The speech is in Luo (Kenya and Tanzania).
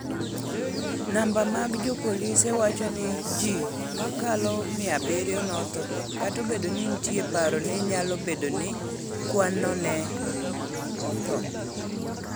Namba mag jopolisi wacho ni ji mokalo 700 notho, kata obedo ni nitie paro ni nyalo bedo ni kwanno ne otho.